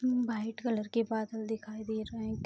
white colour के बादल दिखाई दे रहें --